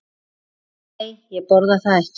Nei, ég borða þetta ekki.